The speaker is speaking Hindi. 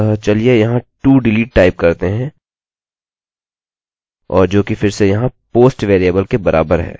अतः चलिए यहाँ todelete टाइप करते हैं और जोकि फिर से यहाँ post वेरिएबल के बराबर है